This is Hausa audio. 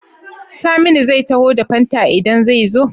Saminu zai taho da fanta idan ze zo?